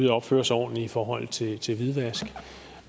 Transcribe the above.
at opføre sig ordentligt i forhold til til hvidvask